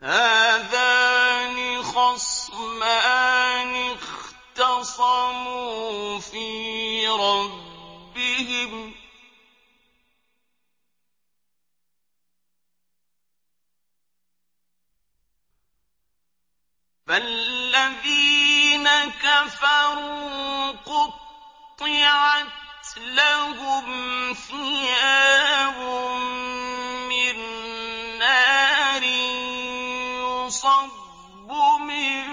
۞ هَٰذَانِ خَصْمَانِ اخْتَصَمُوا فِي رَبِّهِمْ ۖ فَالَّذِينَ كَفَرُوا قُطِّعَتْ لَهُمْ ثِيَابٌ مِّن نَّارٍ يُصَبُّ مِن